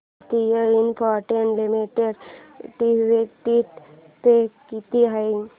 Bharti Infratel limited dividend pay किती आहे